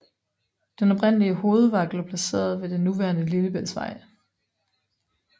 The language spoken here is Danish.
Den oprindelige hovedvagt lå placeret ved det nuværende Lillebæltsvej